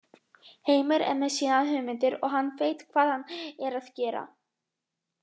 Heimir er með sínar hugmyndir og hann veit hvað hann er að gera.